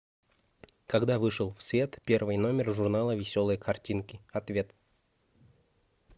когда вышел в свет первый номер журнала веселые картинки ответ